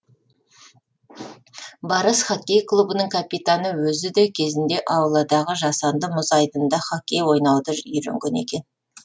барыс хоккей клубының капитаны өзі де кезінде ауладағы жасанды мұз айдынында хоккей ойнауды үйренген екен